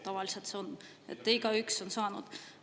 Tavaliselt igaüks on saanud.